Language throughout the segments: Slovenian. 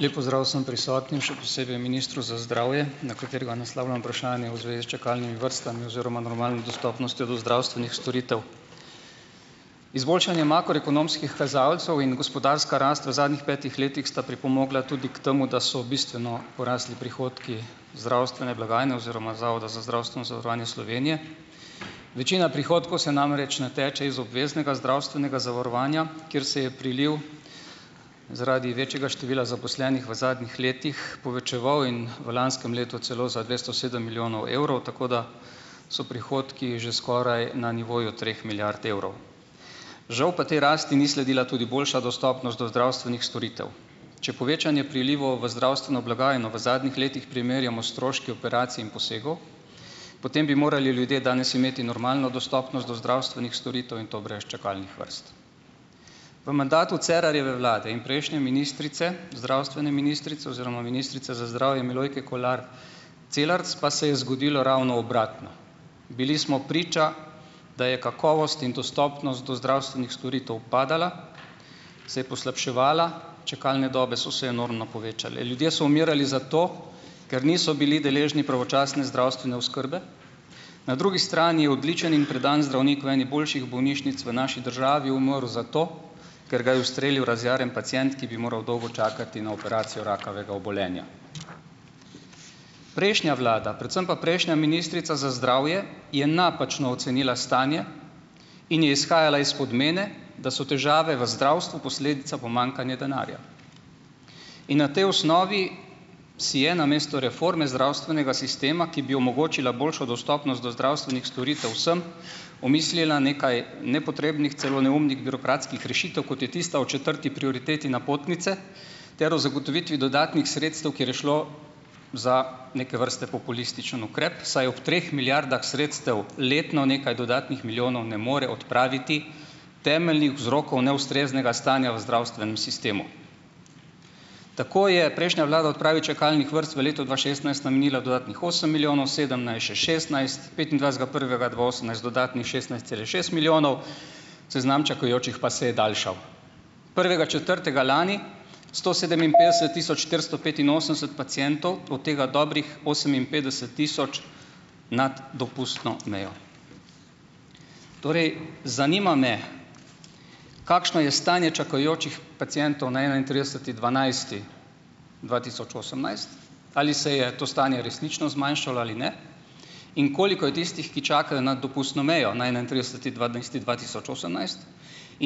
Lep pozdrav vsem prisotnim, še posebej ministru za zdravje, na katerega naslavljam vprašanje v zvezi s čakalnimi vrstami oziroma normalno dostopnostjo do zdravstvenih storitev. Izboljšanje makroekonomskih kazalcev in gospodarska rast v zadnjih petih letih sta pripomogla tudi k temu, da so bistveno porasli prihodki zdravstvene blagajne oziroma Zavoda za zdravstveno zavarovanje Slovenije. Večina prihodkov se namreč nateče iz obveznega zdravstvenega zavarovanja, kjer se je priliv zaradi večjega števila zaposlenih v zadnjih letih povečeval in v lanskem letu celo za dvesto sedem milijonov evrov. Tako da so prihodki že skoraj na nivoju treh milijard evrov. Žal pa tej rasti ni sledila tudi boljša dostopnost do zdravstvenih storitev. Če povečanje prilivov v zdravstveno blagajno v zadnjih letih primerjamo s stroški operacij in posegov, potem bi morali ljudje danes imeti normalno dostopnost do zdravstvenih storitev in to brez čakalnih vrst. V mandatu Cerarjeve vlade in prejšnje ministrice, zdravstvene ministrice oziroma ministrice za zdravje Milojke Kolar Celarc pa se je zgodilo ravno obratno. Bili smo priča, da je kakovost in dostopnost do zdravstvenih storitev padala, se je poslabševala, čakalne dobe so se enormno povečale. Ljudje so umirali zato, ker niso bili deležni pravočasne zdravstvene oskrbe. Na drugi strani je odličen in predan zdravnik v eni boljših bolnišnic v naši državi umrl zato, ker ga je ustrelil razjarjen pacient, ki bi moral dolgo čakati na operacijo rakavega obolenja. Prejšnja vlada, predvsem pa prejšnja ministrica za zdravje je napačno ocenila stanje in je izhajala iz podmene, da so težave v zdravstvu posledica pomanjkanje denarja. In na tej osnovi si je namesto reforme zdravstvenega sistema, ki bi omogočila boljšo dostopnost do zdravstvenih storitev vsem, omislila nekaj nepotrebnih, celo neumnih birokratskih rešitev, kot je tista o četrti prioriteti napotnice ter o zagotovitvi dodatnih sredstev, kjer je šlo za neke vrste populističen ukrep, saj ob treh milijardah sredstev letno nekaj dodatnih milijonov ne more odpraviti temeljnih vzrokov neustreznega stanja v zdravstvenem sistemu. Tako je prejšnja vlada odpravi čakalnih vrst v letu dva šestnajst namenila dodatnih osem milijonov, sedemnajst še šestnajst, petindvajsetega prvega dva osemnajst dodatnih šestnajst cela šest milijonov, seznam čakajočih pa se je daljšal. Prvega četrtega lani sto sedeminpetdeset tisoč štiristo petinosemdeset pacientov, od tega dobrih oseminpetdeset tisoč nad dopustno mejo. Torej zanima me, kakšno je stanje čakajočih pacientov na enaintrideseti dvanajsti dva tisoč osemnajst. Ali se je to stanje resnično zmanjšalo ali ne? In koliko je tistih, ki čakajo nad dopustno mejo, na enaintrideseti dvanajsti dva tisoč osemnajst?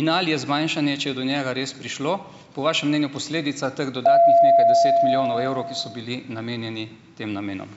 In ali je zmanjšanje, če je do njega res prišlo, po vašem mnenju posledica teh dodatnih nekaj deset milijonov evrov, ki so bili namenjeni tem namenom?